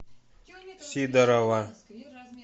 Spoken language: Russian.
сидорова